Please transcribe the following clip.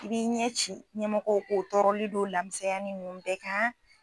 I b'i ɲɛci ɲɛmɔgɔw k'o tɔɔrɔli n'o lamisanyanin ninnu bɛɛ kan.